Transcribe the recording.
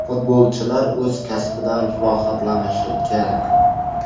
Futbolchilar o‘z kasbidan rohatlanishi kerak.